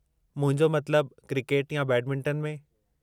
मुंहिंजो मतिलबु, क्रिकेट या बैडमिंटन में।